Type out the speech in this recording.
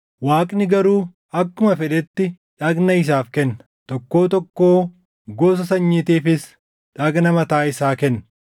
Waaqni garuu akkuma fedhetti dhagna isaaf kenna; tokkoo tokkoo gosa sanyiitiifis dhagna mataa isaa kenna.